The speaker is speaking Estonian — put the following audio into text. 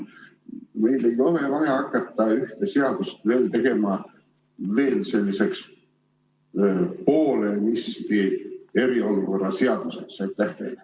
Meil ei ole vaja hakata ühte seadust tegema veel selliseks poolenisti eriolukorra seaduseks.